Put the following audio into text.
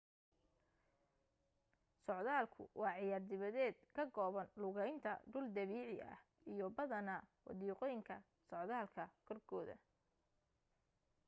socdaalkku waa ciyaar dibadeed ka kooban lugaynta dhul dabiici ah iyo badanaa wadiiqooyinka socdaalka korkooda